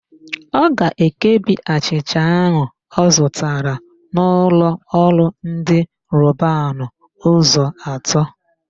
Ọ ga-ekebi achịcha áhụ̀ ọ zụtara n'ụlọọrụ ndị Robanu ụzọ atọ.